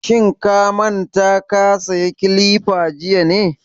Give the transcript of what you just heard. Shin ka manta ka saya kilifa jiya ne?